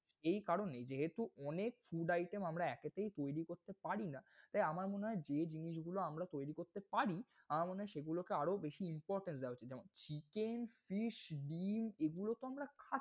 এই কারনেই যেহেতু অনেক food item আমরা একেতেই তৈরি করতে পারিনা। তাই আমার মনে হয়, যে জিনিসগুলো আমরা তৈরি করতে পার্‌ আমার মনে হয় সেগুলোকে আরও বেশি importance দেয়া উচিৎ। যেহেতু chicken, fish ডিম এগুলো তো আমরা খাই।